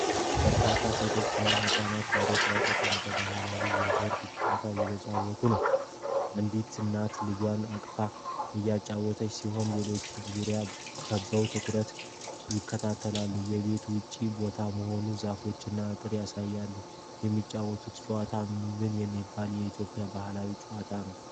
በርካታ ሴቶችና ህጻናት መሬት ላይ ተቀምጠው ባህላዊ የቦርድ ጨዋታ እየተጫወቱ ነው። አንዲት እናት ልጇን አቅፋ እያጫወተች ሲሆን ሌሎቹም ዙሪያዋን ከበው በትኩረት ይከታተላሉ። የቤት ውጭ ቦታ መሆኑን ዛፎችና አጥር ያሳያሉ። የሚጫወቱት ጨዋታ ምን የሚባል የኢትዮጵያ ባህላዊ ጨዋታ ነው?